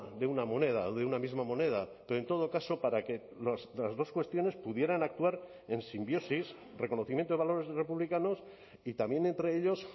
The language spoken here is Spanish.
de una moneda o de una misma moneda pero en todo caso para que las dos cuestiones pudieran actuar en simbiosis reconocimiento de valores republicanos y también entre ellos